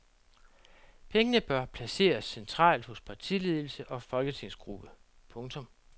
Pengene bør placeres centralt hos partiledelse og folketingsgruppe. punktum